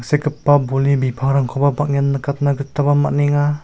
sekgipa bolni bipangrangkoba bang·en nikatna gitaba man·enga.